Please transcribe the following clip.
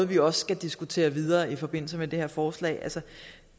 vi også skal diskutere videre i forbindelse med det her forslag